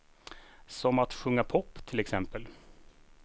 Som att sjunga pop, till exempel.